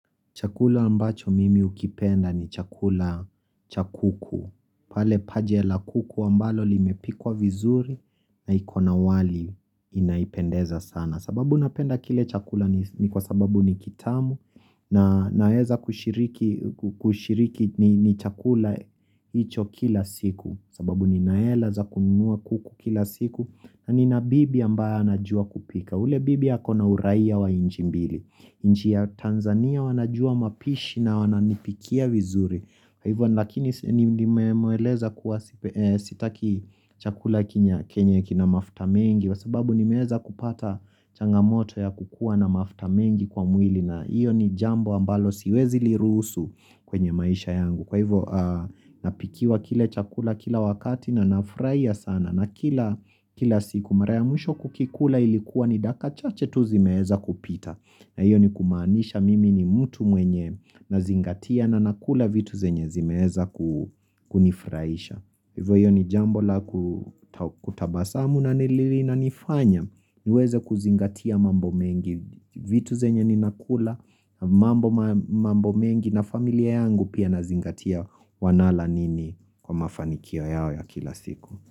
Chakula ambacho mimi hukipenda ni chakula cha kuku. Pale paja la kuku ambalo limepikwa vizuri na ikona wali inapendeza sana. Sababu napenda kile chakula ni kwa sababu ni kitamu na naweza kushiriki ni chakula hicho kila siku. Sababu nina hela za kunua kuku kila siku na nina bibi ambaye anajua kupika. Ule bibi akona uraia wa nchi mbili. Nchi ya Tanzania wanajua mapishi na wananipikia vizuri Kwa hivyo lakini nimemweleza sitaki chakula kenye kina mafuta mengi kwa sababu nimeweza kupata changamoto ya kukuwa na mafuta mengi kwa mwili na hiyo ni jambo ambalo siwezi lirusu kwenye maisha yangu Kwa hivyo napikiwa kile chakula kila wakati na nafurahia sana na kila siku mara ya mwisho kukikula ilikuwa ni dakika chache tu zimeweza kupita na hiyo ni kumaanisha mimi ni mtu mwenye nazingatia na nakula vitu zenye zimeweza kunifurahisha Hivyo hiyo ni jambo la kutabasamu na linanifanya niweze kuzingatia mambo mengi vitu zenye ninakula mambo mengi na familia yangu pia nazingatia wanala nini kwa mafanikio yao ya kila siku.